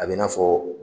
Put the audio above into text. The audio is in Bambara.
A bɛ na fɔ